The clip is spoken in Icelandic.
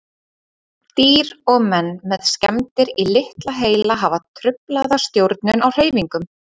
Dýr og menn með skemmdir í litla heila hafa truflaða stjórnun á hreyfingum.